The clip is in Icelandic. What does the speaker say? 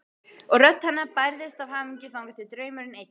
Og rödd hennar bærðist af hamingju þangað til draumurinn eyddist.